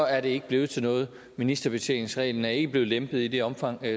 er det ikke blevet til noget ministerbetjeningsreglen er ikke blevet lempet i det omfang